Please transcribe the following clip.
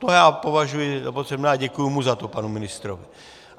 To já považuji za potřebné a děkuji mu za to, panu ministrovi.